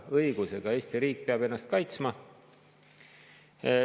Õigusega – Eesti riik peab ennast kaitsma.